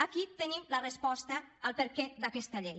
aquí tenim la resposta al perquè d’aquesta llei